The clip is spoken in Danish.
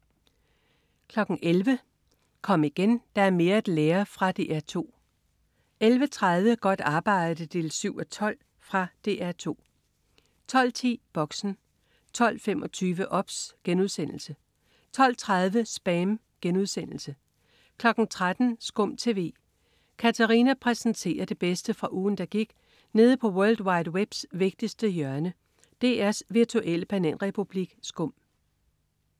11.00 Kom igen, der er mere at lære. Fra DR 2 11.30 Godt arbejde 7:12. Fra DR 2 12.10 Boxen 12.25 OBS* 12.30 SPAM* 13.00 SKUM TV. Katarina præsenterer det bedste fra ugen, der gik nede på world wide webs vigtigste hjørne, DR's virtuelle bananrepublik SKUM